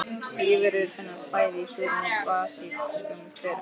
Lífverur finnast bæði í súrum og basískum hverum.